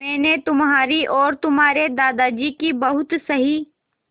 मैंने तुम्हारी और तुम्हारे दादाजी की बहुत सही